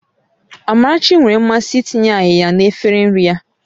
Amarachi nwere mmasị itinye áyiya na efere nri ya